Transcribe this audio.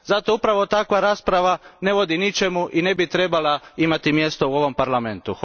Zato upravo takva rasprava ne vodi ničemu i ne bi trebala imati mjesto u ovom parlamentu.